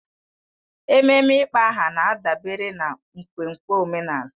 Ememe ịkpọ aha na-adabere na nkwenkwe omenala